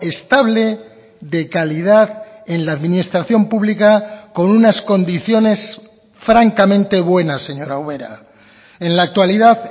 estable de calidad en la administración pública con unas condiciones francamente buenas señora ubera en la actualidad